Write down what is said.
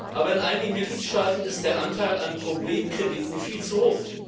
Aber in einigen Mitgliedstaaten ist der Anteil an Problemkrediten viel zu hoch.